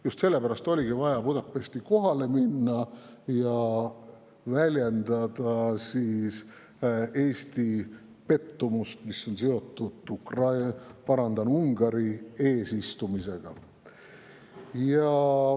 Just seepärast oli vaja Budapesti kohale minna ja väljendada Eesti pettumust, mis on seotud Ungari eesistumisega.